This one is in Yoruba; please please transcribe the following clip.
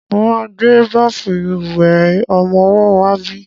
Mo máa gbé báfù ìwẹ̀ ọmọwọ́ wá bí.